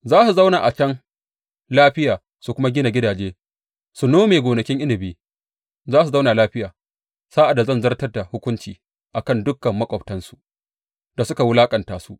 Za su zauna a can lafiya su kuma gina gidaje su nome gonakin inabi; za su zauna lafiya sa’ad da zan zartar da hukunci a kan dukan maƙwabtansu da suka wulaƙanta su.